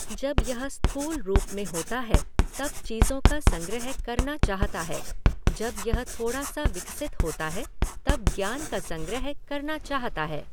जब यह स्थूल रूप में होता है तब चीज़ों का संग्रह करना चाहता है, जब यह थोड़ा सा विकसित होता है तब ज्ञान का संग्रह करना चाहता है।